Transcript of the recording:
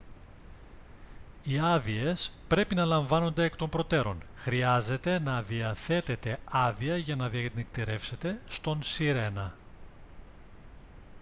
οι άδειες πρέπει να λαμβάνονται εκ των προτέρων χρειάζεται να διαθέτετε άδεια για να διανυκτερεύσετε στον sirena